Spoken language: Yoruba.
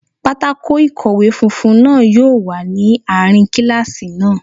Pátákó ikowe funfun náà yóò wà ní àárín kíláàsì náà